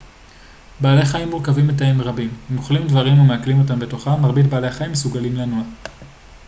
בעלי חיים מורכבים מתאים רבים הם אוכלים דברים ומעכלים אותם בתוכם מרבית בעלי החיים מסוגלים לנוע